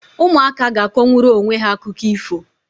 Ụmụaka ga-akọnwuru onwe ha akụkọ ifo.